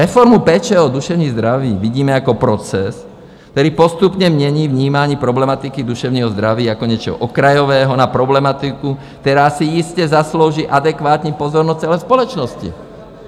Reformu péče o duševní zdraví vidíme jako proces, který postupně mění vnímání problematiky duševního zdraví jako něčeho okrajového na problematiku, která si jistě zaslouží adekvátní pozornost celé společnosti."